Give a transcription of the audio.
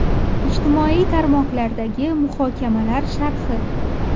Ijtimoiy tarmoqlardagi muhokamalar sharhi.